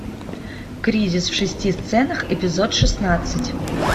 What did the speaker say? кризис в шести сценах эпизод шестнадцать